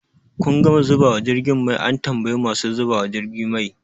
Kun gama zubawa jirgin mai? an tambayi masu zubawa jirgi mai